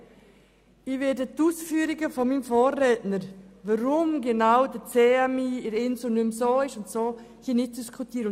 Ich werde die Ausführungen meines Vorredners, warum genau der CMI im Inselspital nicht mehr so ist, wie er vorher war, hier nicht diskutieren.